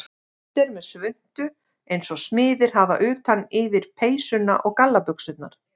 Kiddi er með svuntu eins og smiðir hafa utan yfir peysuna og gallabuxurnar.